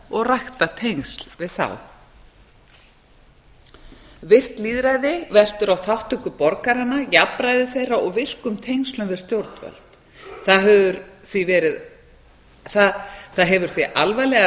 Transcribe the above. og rækta tengsl við þá virkt lýðræði veltur á þátttöku borganna jafnræði þeirra jafnræði þeirra og virkum tengslum við stjórnvöld það hefur því alvarlegar